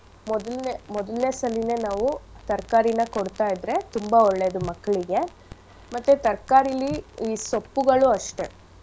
ಮೊದಲ್ನೇ ಮೊದಲ್ನೇ ಸಲೀನೆ ನಾವು ತರ್ಕಾರಿನ ಕೊಡ್ತಾಯಿದ್ರೆ ತುಂಬಾ ಒಳ್ಳೇದು ಮಕ್ಳಿಗೆ ಮತ್ತೆ ತರ್ಕಾರಿಲಿ ಈ ಸೊಪ್ಪುಗಳು ಅಷ್ಟೆ.